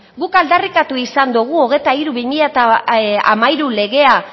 guk aldarrikatu izan dugu hogeita hiru barra bi mila hamairu legea